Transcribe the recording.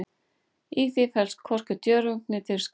Í því felst hvorki djörfung né dirfska.